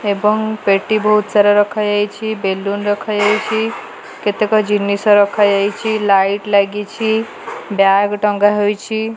ଏବଂ ପେଟି ବହୁତ୍ ସାରା ରଖାଯାଇଛି ବେଲୁନ ରଖାଯାଇଛି କେତେକ ଜିନିଷ ରଖାଯାଇଛି ଲାଇଟ୍ ଲାଗିଛି ବ୍ୟାଗ୍ ଟଙ୍ଗା ହୋଇଛି।